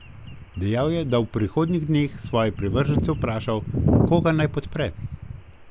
Dejal je, da bo v prihodnjih dneh svoje privržence vprašal, koga naj podpre.